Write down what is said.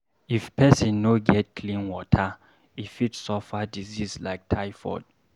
If pesin no get clean water, e fit suffer disease like typhoid.